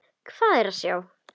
Hvað er að sjá